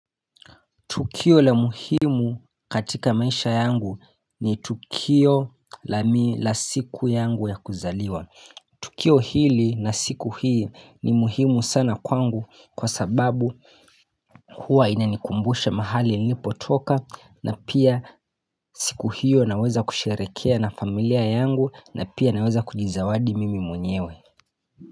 Tukio la muhimu katika maisha yangu ni tukio la siku yangu ya kuzaliwa. Tukio hili na siku hii ni muhimu sana kwangu kwa sababu huwa ina nikumbushe mahali nilipo toka na pia siku hiyo naweza kusharekea na familia yangu na pia naweza kujizawadi mimi mwenyewe.